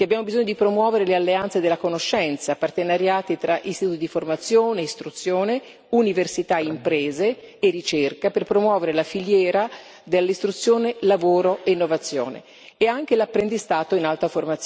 che abbiamo bisogno di promuovere le alleanze della conoscenza, partenariati tra istituti di formazione, istruzione, università, imprese e ricerca, per promuovere la filiera dell'istruzione, del lavoro e dell'innovazione e anche l'apprendistato in alta